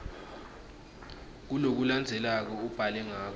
kulokulandzelako ubhale ngako